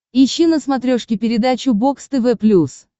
ищи на смотрешке передачу бокс тв плюс